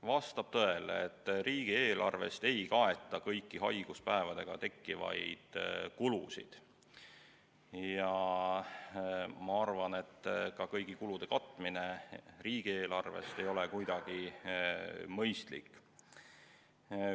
Vastab tõele, et riigieelarvest ei kaeta kõiki haiguspäevadega tekkivaid kulusid, ja ma arvan, et kõigi kulude katmine riigieelarvest ei ole ka kuidagi mõistlik.